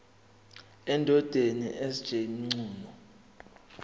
endodeni sj mchunu